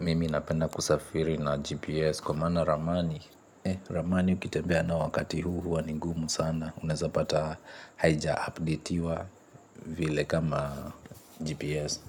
Mimi napenda kusafiri na GPS kwa maana ramani, ramani ukitembea nayo wakati huu huwa ni ngumu sana unaweza pata haijaupdatiwa vile kama GPS.